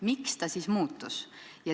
Miks ta siis muutus?